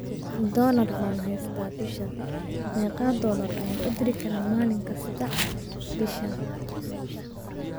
Doolar baan haystaa bishaan, meeqa doollar ayaan u diri karaa maalin kasta bishan?